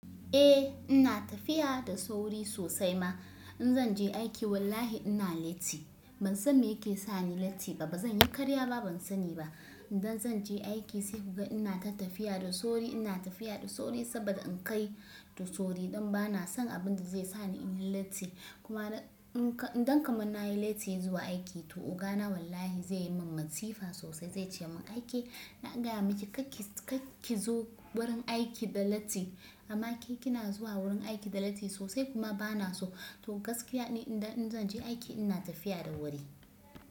Eh ina tafiya da sauri sosai ma. In zan je aiki wallahi ina latti. Ban san me yake sani latti ba. Ba zan yi karya ba ban sani ba. Idan zan je aiki sai kuga ina ta tafiya da sauri, ina tafiya da sauri saboda in kai da sauri. Dan bana son abinda zai sa ni in yi latti. Kuma idan kaman na yi latti zuwa aiki toh oga na wallahi zai yi min matsifa sosai, zai ce mun "Aike na gaya miki kar ki zo wurin aiki da latti." Amma ke kina zuwa wurin aiki da latti sosai kuma bana so. To gaskiya ni idan zan je aiki ina tafiya da wuri.